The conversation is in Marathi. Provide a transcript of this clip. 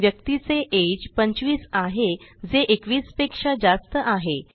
व्यक्तीचे अगे 25 आहे जे 21 पेक्षा जास्त आहे